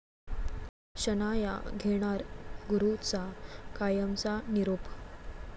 शनाया घेणार गुरूचा कायमचा निरोप